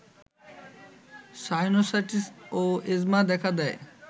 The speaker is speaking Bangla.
সাইনোসাইটিস্ ও এজমা দেখা দেয়